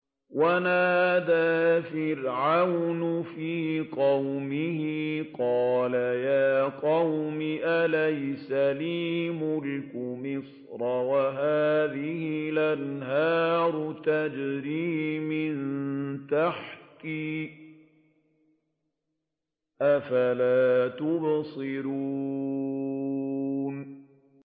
وَنَادَىٰ فِرْعَوْنُ فِي قَوْمِهِ قَالَ يَا قَوْمِ أَلَيْسَ لِي مُلْكُ مِصْرَ وَهَٰذِهِ الْأَنْهَارُ تَجْرِي مِن تَحْتِي ۖ أَفَلَا تُبْصِرُونَ